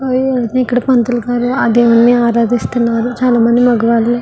ఇక్కడ పంతులుగారు ఆ దేవుని ఆరాధిస్తున్నారు చాలామంది మగవారు --